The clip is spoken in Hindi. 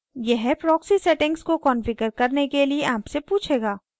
यह proxy settings को configure करने के लिए आपसे पूछेगा